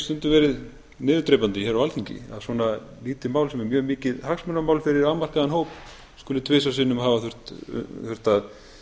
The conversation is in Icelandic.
stundum verið niðurdrepandi hér á alþingi að svona lítið mál sem er mjög mikið hagsmunamál fyrir afmarkaðan hóp skuli tvisvar sinnum hafa þurft að